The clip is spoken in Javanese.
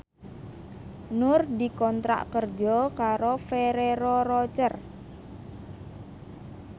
Nur dikontrak kerja karo Ferrero Rocher